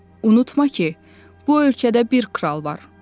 “Unutma ki, bu ölkədə bir kral var.